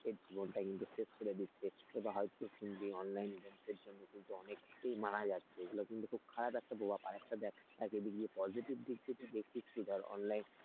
জীবনটা কিন্তু শেষ করে দিচ্ছে, বা হয়তো যে online games এর জন্যে কিন্তু অনেকে মারা যাচ্ছে এটা কিন্তু খুব খারাপ একটা প্রভাব, আর একটা দেখ এটা গিয়ে positive দিক থেকে দেখছিস কি ধর online,